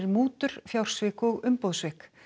mútur fjársvik og umboðssvik